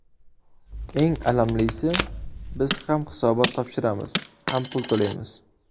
Eng alamlisi, biz ham hisobot topshiramiz, ham pul to‘laymiz.